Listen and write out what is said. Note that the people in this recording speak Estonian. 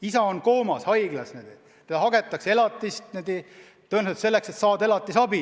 Isa on haiglas koomas, aga hagetakse elatist – tõenäoliselt selleks, et saada elatisabi.